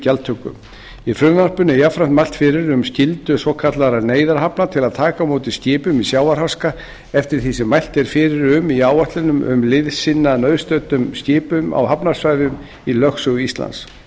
gjaldtöku í frumvarpinu er jafnframt mælt fyrir um skyldu svokallaðra neyðarhafna til að taka á móti skipum í sjávarháska eftir því sem mælt er fyrir um í áætlun um að liðsinna nauðstöddum skipum á hafsvæðum í lögsögu íslands